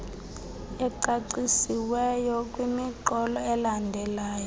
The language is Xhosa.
ecacisiweyo kwimiqolo elandelayo